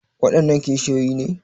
Waɗannan kishiyoyi ne?